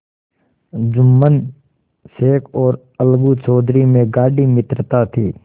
जुम्मन शेख और अलगू चौधरी में गाढ़ी मित्रता थी